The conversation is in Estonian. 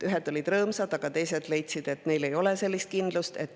Ühed olid rõõmsad, aga teised leidsid, et neil ei ole sellist kindlust.